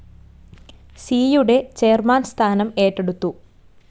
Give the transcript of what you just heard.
സിയുടെ ചെയർമാൻ സ്ഥാനം ഏറ്റെടുത്തു.